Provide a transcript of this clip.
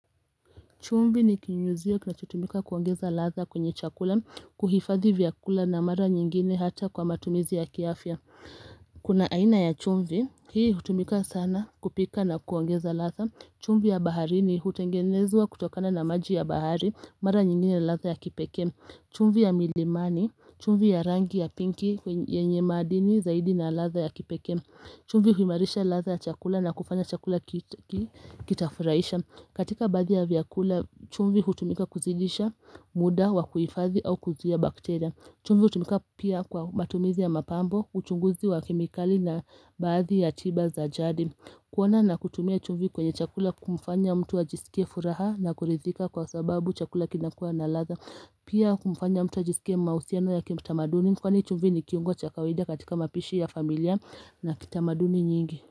Chumvi ni kinyunyiziwa kinachotumika kuongeza ladha kwenye chakula, kuhifadhi vyakula na mara nyingine hata kwa matumizi ya kiafya. Kuna aina ya chumvi hii hutumika sana kupika na kuongeza ladha. Chumvi ya baharini hutengenezwa kutokana na maji ya bahari, mara nyingine ya ladha ya kipeke. Chumvi ya milimani, chumvi ya rangi ya pinki, yenye madini zaidi na ladha ya kipekee. Chumvi huimarisha ladha ya chakula na kufanya chakula kitafurahisha. Katika baadhi ya vyakula, chumvi hutumika kuzidisha muda wa kuhifadhi au kuzuia bakteria. Chumvi hutumika pia kwa matumizi ya mapambo, uchunguzi wa kemikali na baadhi ya tiba za jadi. Kuona na kutumia chumvi kwenye chakula humfanya mtu ajisikie furaha na kuridhika kwa sababu chakula kinakuwa na ladha. Pia hufanya mtu ajisikie mahusiano ya kimutamaduni. Kwani chumvi ni kiungo cha kawaida katika mapishi ya familia na kitamaduni nyingi.